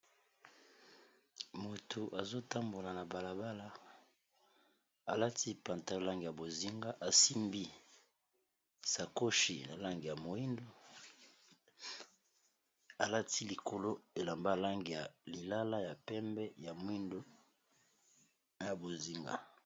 Moto azotambola na balabala alati pantalo ya lange ya bozinga, asimbi sakoshi na lange ya moindo, alati likolo elamba lange ya lilala ya pembe ya mwindo na bozinga.